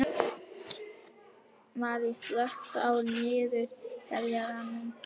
Marín, slökktu á niðurteljaranum.